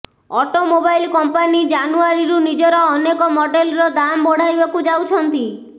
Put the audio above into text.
automobile company ଜାନୁଆରୀରୁ ନିଜର ଅନେକ ମଡେଲର ଦାମ୍ ବଢାଇବାକୁ ଯାଉଛନ୍ତି